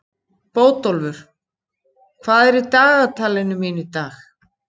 Bótólfur, hvað er í dagatalinu mínu í dag?